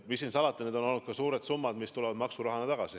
Mis siin salata, need on olnud suured summad, mis tulevad maksurahana tagasi.